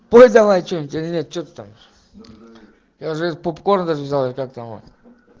пой давай чего нибудь или нет что там я уже и попкорн даже взяли или как там его